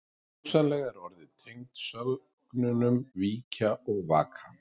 Hugsanlega er orðið tengt sögnunum víkja og vaka.